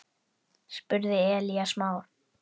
spurði Elías Mar.